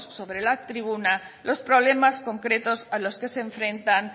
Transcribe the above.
sobre la tribuna los problemas concretos a los que se enfrentan